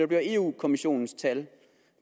bliver europa kommissionens tal